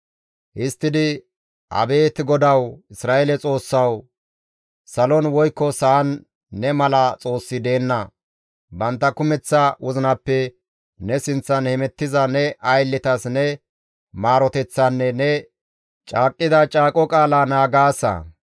Histtidi, «Abeet GODAWU, Isra7eele Xoossawu! Salon woykko sa7an ne mala xoossi deenna. Bantta kumeththa wozinappe ne sinththan hemettiza ne aylletas ne maaroteththaanne ne caaqqida caaqo qaalaa naagaasa.